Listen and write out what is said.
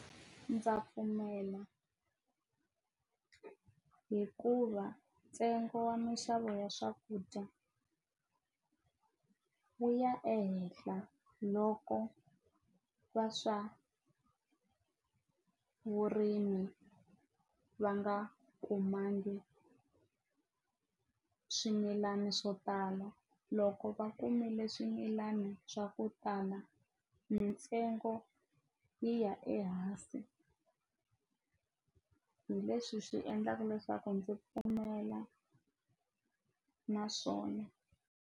Ndza pfumela hikuva ntsengo wa minxavo ya swakudya wu ya ehehla loko wa swa vurimi va nga kumangi swimilana swo tala loko va kumile swimilani swa ku tala mintsengo yi ya ehansi hi leswi swi endlaka leswaku ndzi pfumelana na swona.